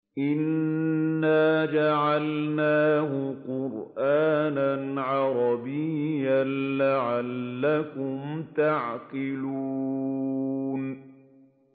إِنَّا جَعَلْنَاهُ قُرْآنًا عَرَبِيًّا لَّعَلَّكُمْ تَعْقِلُونَ